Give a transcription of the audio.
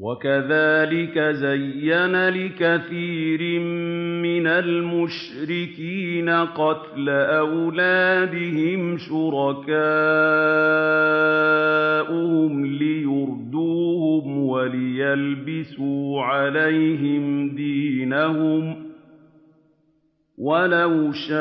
وَكَذَٰلِكَ زَيَّنَ لِكَثِيرٍ مِّنَ الْمُشْرِكِينَ قَتْلَ أَوْلَادِهِمْ شُرَكَاؤُهُمْ لِيُرْدُوهُمْ وَلِيَلْبِسُوا عَلَيْهِمْ دِينَهُمْ ۖ وَلَوْ شَاءَ